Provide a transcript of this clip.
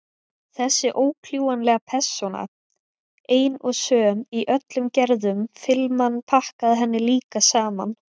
Þessi ókljúfanlega persóna, ein og söm í öllum gerðum filman pakkaði henni líka saman.